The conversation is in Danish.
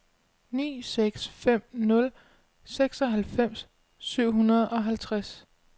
ni seks fem nul seksoghalvfems syv hundrede og halvtreds